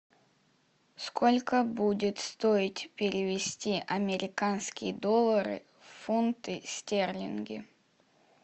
сколько будет стоить перевести американские доллары в фунты стерлинги